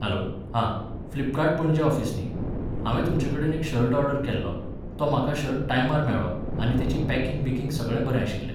Hello आं, Flipkart पणजे office न्ही? हांवें तुमचे कडेन एक शर्ट ऑर्डर केल्लो, तो म्हाका शर्ट टायमार मेळ्ळो आनी तेजी पॅकिंग बिकींग सगळें बरें आशिल्लें.